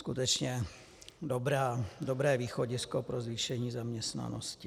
Skutečně dobré východisko pro zvýšení zaměstnanosti.